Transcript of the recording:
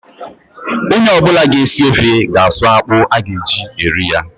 Ọnye ọbụla ga esi ofe ga a suu akpụ a ga eji eri ya